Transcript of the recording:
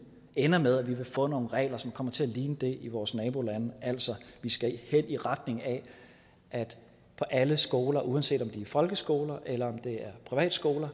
ender med at vi vil få nogle regler som kommer til at ligne dem i vores nabolande altså vi skal hen i retning af at på alle skoler uanset om det er folkeskoler eller privatskoler